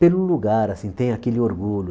pelo lugar, assim, tem aquele orgulho.